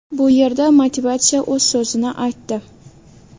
Bu yerda motivatsiya o‘z so‘zini aytdi.